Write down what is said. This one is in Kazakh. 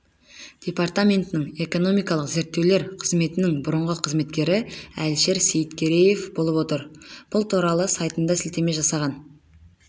департаментінің экономикалық зерттеулер қызметінің бұрынғы қызметкері әләшер сейіткереев болып отыр бұл туралы сайтына сілтеме жасаған